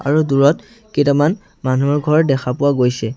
আৰু দূৰত কেইটামান মানুহৰ ঘৰ দেখা পোৱা গৈছে।